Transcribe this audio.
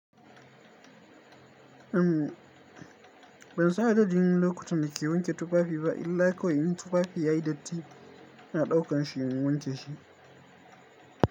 Ban san adadin lokuta da ke wanke tufafi ba illai kawai in tufafi yayi datti na ɗauka shi in wanke shi.